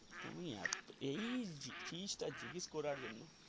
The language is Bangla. আমি এত এই যে জিনিস টা জিজ্ঞাস করার জন্য.